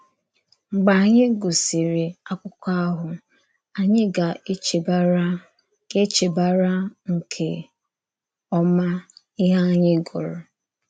Mgbe ányị gụsịrị àkụ́kọ̀ ahụ, ányị gà-echebàrà gà-echebàrà nke ọma íhè ányị gụrụ.